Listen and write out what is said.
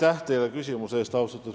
Austatud Riigikogu esimees!